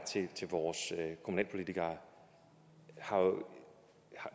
til vores kommunalpolitikere